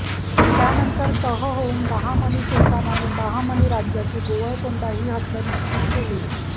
त्यानंतर तह होऊन बहामनी सुलतानाने बहामनी राज्याची गोवळकोंडा ही हद्द निश्चित केली